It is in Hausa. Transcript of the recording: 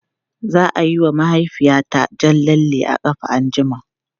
Za a yi wa mahaifiyata jan lalle a ƙafa anjima.